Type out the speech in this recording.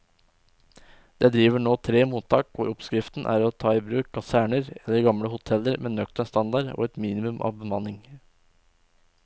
Det driver nå tre mottak hvor oppskriften er å ta i bruk kaserner eller gamle hoteller med nøktern standard og et minimum av bemanning.